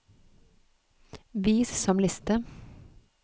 vis som liste